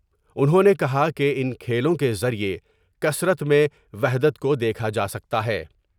انہوں نے کہا کہ ان کھیلوں کے ذریعے کثرت میں وحدت کو دیکھا جا سکتا ہے ۔